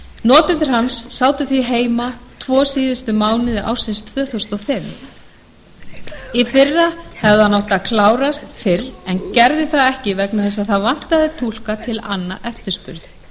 notendur hans sátu því heima tvo síðustu mánuði ársins tvö þúsund og fimm í fyrra hefði hann átt að klárast fyrr en gerði það ekki vegna þess að það vantaði túlka til að anna eftirspurn